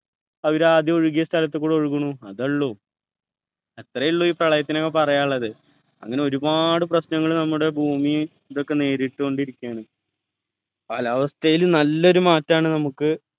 അവര് ആദ്യം ഒഴുകിയ സ്ഥലത്തുകൂടെ ഒഴുകുന്നു അതേയുള്ളു അത്രേയുള്ളൂ ഈ പ്രളയത്തിനൊക്കെ പറയാനുള്ളത് അങ്ങനെ ഒരുപാട് പ്രശ്‌നങ്ങൾ നമ്മുടെ ഭൂമി ഇതൊക്കെ നേരിട്ടു കൊണ്ടിരിക്കയാണ് കാലാവസ്ഥയിൽ നല്ല ഒരു മാറ്റാണ് നമുക്ക്